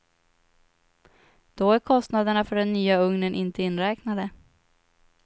Då är kostnaderna för den nya ugnen inte inräknade.